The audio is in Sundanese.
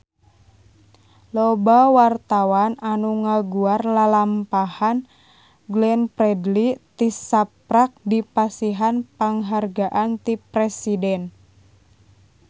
Loba wartawan anu ngaguar lalampahan Glenn Fredly tisaprak dipasihan panghargaan ti Presiden